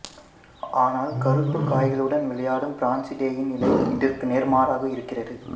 ஆனால் கருப்புக் காய்களுடன் விளையாடும் பிரான்சிடெயின் நிலை இதற்கு நேர்மாறாக இருக்கிறது